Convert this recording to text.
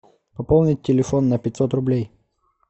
пополнить телефон на пятьсот рублей